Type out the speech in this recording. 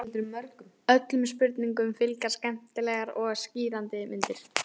Öllum spurningum fylgja skemmtilegar og skýrandi myndir.